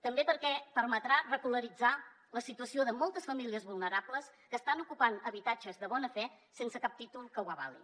també perquè permetrà regularitzar la situació de moltes famílies vulnerables que estan ocupant habitatges de bona fe sense cap títol que ho avali